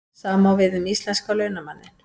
Sama á við um íslenska launamanninn.